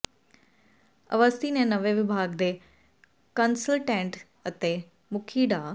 ਅਵਸਥੀ ਨੇ ਨਵੇਂ ਵਿਭਾਗ ਦੇ ਕੰਸਲਟੈਂਟ ਅਤੇ ਮੁਖੀ ਡਾ